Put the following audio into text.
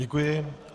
Děkuji.